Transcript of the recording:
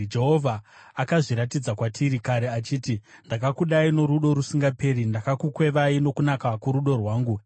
Jehovha akazviratidza kwatiri kare, achiti: “Ndakakudai norudo rusingaperi; ndakakukwevai nokunaka kworudo rwangu.